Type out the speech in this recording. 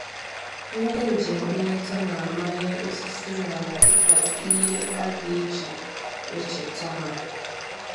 Ndị njem nleta na-amanye osisi n'ala dịka ihe a ga-eji echeta ha